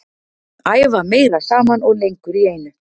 Æfa meira saman og lengur í einu.